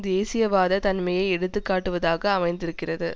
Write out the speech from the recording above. தேசியவாத தன்மையை எடுத்து காட்டுவதாக அமைந்திருக்கிறது